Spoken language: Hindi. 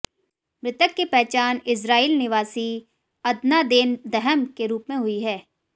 मृतक की पहचान इस्राइल निवासी अदनादैन दहम के रूप में हुई है